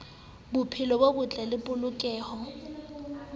bophelo bo botle le polokeho